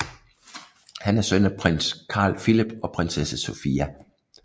Han er søn af prins Carl Philip og prinsesse Sofia